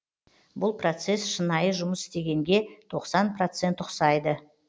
бұл процесс шынайы жұмыс істегенге тоқсан процент ұқсайды